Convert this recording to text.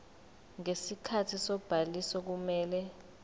ngesikhathi sobhaliso kumele